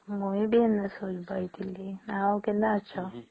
ମୁଇ ଏଇଠି ଶୋଇ ପାଇଥିଲି ଆଉ କେନ ଅଛ